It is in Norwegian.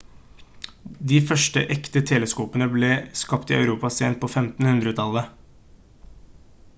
de første ekte teleskopene ble skapt i europa sent på 1500-tallet